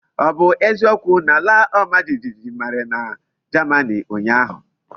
O bu eziokwu na alaomajijiji mere na Germany unyahu?